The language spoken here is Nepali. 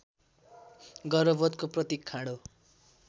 गर्वबोधको प्रतीक खाँडो